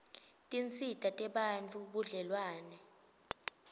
tinsita tebantfu budlelwane